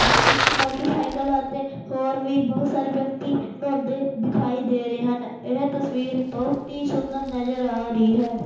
ਇੱਕ ਮੋਟਰਸਾਈਕਲ ਅਤੇ ਹੋਰ ਵੀ ਬਹੁਤ ਸਾਰੇ ਵਿਅਕਤੀ ਨ੍ਹਾਉਂਦੇ ਦਿਖਾਈ ਦੇ ਰਹੇ ਹਨ ਇਹ ਤਸਵੀਰ ਬਹੁਤ ਹੀ ਸੁੰਦਰ ਨਜ਼ਰ ਆ ਰਹੀ ਹੈ।